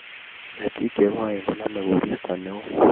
Ketik chegoen koname koristo neoo